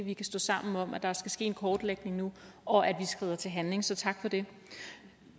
vi kan stå sammen om at der skal ske en kortlægning nu og at vi skrider til handling så tak for det